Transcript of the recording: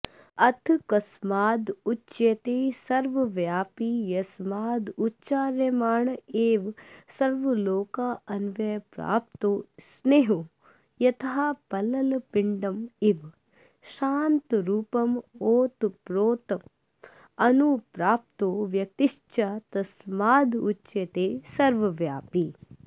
अथ कस्मादुच्यते सर्वव्यापी यस्मादुच्चार्यमाण एव सर्वांलोकान्व्याप्नोति स्नेहो यथा पललपिण्डमिव शान्तरूपमोतप्रोतमनुप्राप्तो व्यतिषक्तश्च तस्मादुच्यते सर्वव्यापी